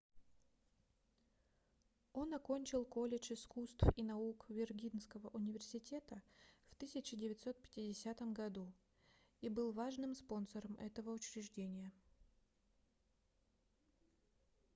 он окончил колледж искусств и наук виргинского университета в 1950 году и был важным спонсором этого учреждения